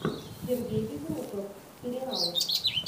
сергей безруков сериал